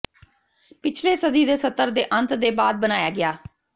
ਪਿਛਲੇ ਸਦੀ ਦੇ ਸੱਤਰ ਦੇ ਅੰਤ ਦੇ ਬਾਅਦ ਬਣਾਇਆ ਗਿਆ